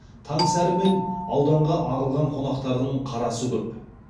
таң сәрімен ауданға ағылған қонақтардың қарасы көп